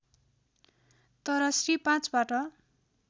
तर श्री ५ बाट